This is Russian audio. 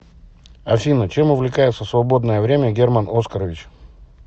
афина чем увлекается в свободное время герман оскарович